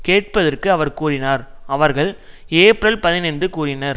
கேட்க பட்டதற்கு அவர் கூறினார் அவர்கள் ஏப்ரல் பதினைந்து கூறினர்